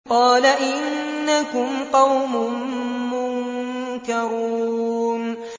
قَالَ إِنَّكُمْ قَوْمٌ مُّنكَرُونَ